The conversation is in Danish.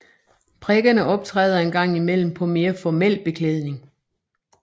Prikkerne optræder en gang i mellem på mere formel beklædning